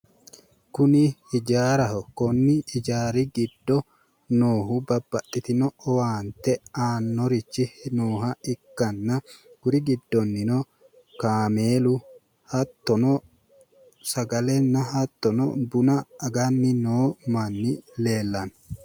Kuni ijaaraho konni ijaari giddo noohu babbaxitino owaante annorichi nooha ikkanna kuri giddonnino kameelu hattono sagalenna hattono buna aganni noo manni leelanno